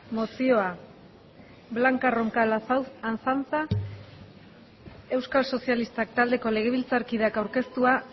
mozioa blanca roncal azanza euskal sozialistak taldeko legebiltzarkideak aurkeztua